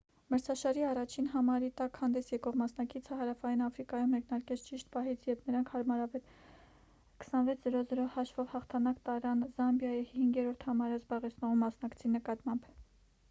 մրցաշարի առաջին համարի տակ հանդես եկող մասնակիցը հարավային աֆրիկայում մեկնարկեց ճիշտ պահից երբ նրանք հարմարավետ 26-00 հաշվով հաղթանակ տարան զամբիայի 5-րդ համարը զբաղեցնող մասնակցի նկատմամբ